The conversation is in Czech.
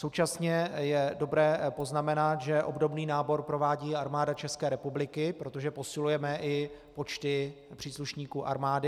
Současně je dobré poznamenat, že obdobný nábor provádí Armáda České republiky, protože posilujeme i počty příslušníků armády.